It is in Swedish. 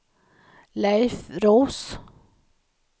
Leif Roos